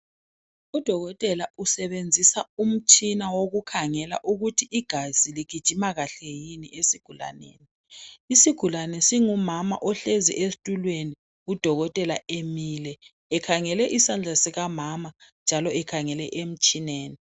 UDokotela usebenzisa umtshina wokukhangela ukuthi igazi ligijima kahle yini esigulaneni. Isigulane singumama ohlezi esitulweni uDokotela emile ekhangele isandla sikamama njalo ekhangele emtshineni.